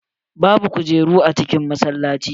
Babu kujeru a cikin masallaci.